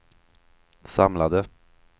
samlade